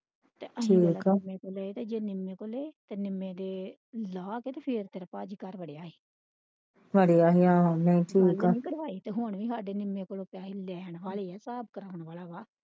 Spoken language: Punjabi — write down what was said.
ਠੀਕ ਆ ਅਸੀਂ ਜੇ ਨਿਮੇ ਕੋ ਲਏ ਤੇ ਨਿੰਮੇ ਦੇ ਲਾਹ ਕੇ ਤੇ ਫੇਰ ਤੇਰੇ ਭਾਜੀ ਘਰ ਵੜੇ ਅਸੀਂ ਵੜਿਆ ਸੀ ਆਹੋ ਨਹੀਂ ਠੀਕ ਆ ਕਢਵਾਏ ਤੇ ਹੈ ਅਸੀਂ ਨਿੰਮੇ ਕੋਲੋਂ ਪਾਸੇ ਦੇਣ ਵਾਲੇ ਆ ਸਾਬ ਕਰਨ ਵਾਲਾ ਆ।